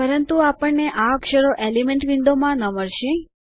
પરંતુ આપણને આ અક્ષરો એલિમેન્ટ વિન્ડોમાં ન મળશે